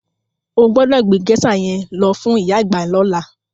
O gbọ́dọ̀ gbé géṣà yẹn lọ fún ìyá àgbà lọ́la.